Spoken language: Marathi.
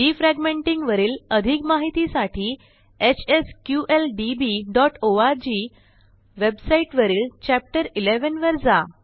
डिफ्रॅगमेंटिंग वरील अधिक माहितीसाठी hsqldbओआरजी वेबसाईटवरील चॅप्टर 11 वर जा